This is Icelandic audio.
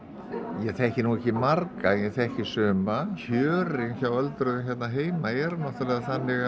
ég þekki nú ekki marga en ég þekki suma kjörin hjá öldruðum hérna heima eru náttúrulega þannig